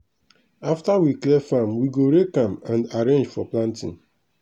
after we clear farm we go rake am and arrange for planting.